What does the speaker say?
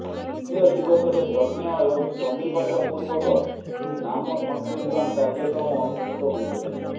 ଦ୍ୱିତୀୟ ଦିବସରେ ଯଜ୍ଞ ଏବଂ ଚଣ୍ଡିପାଠ ପୂର୍ବକ ନାମ ସଂକୀର୍ତନ କାର୍ଯ୍ୟକ୍ରମ ଅନୁଷ୍ଠିତ ହୋଇଥିଲା